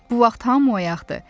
Bu vaxt hamı oyaqdı.